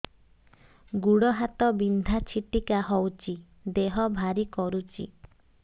ଗୁଡ଼ ହାତ ବିନ୍ଧା ଛିଟିକା ହଉଚି ଦେହ ଭାରି କରୁଚି